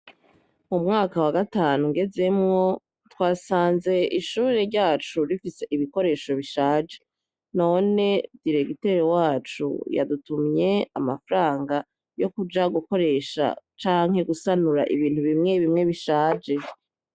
Mu mwaka wa gatanu ngezemwo twasanze ishure ryacu rifise ibikoresho bishaje. None diregiteri wacu yadutumye amafaranga yo kuja gukoresha canke gusanura ibintu bimwe bimwe bishaje.